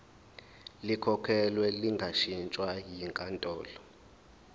likhokhelwe lingashintshwa yinkantolo